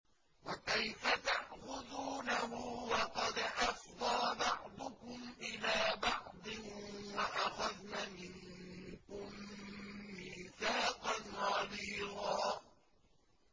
وَكَيْفَ تَأْخُذُونَهُ وَقَدْ أَفْضَىٰ بَعْضُكُمْ إِلَىٰ بَعْضٍ وَأَخَذْنَ مِنكُم مِّيثَاقًا غَلِيظًا